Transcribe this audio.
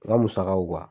N ka musakaw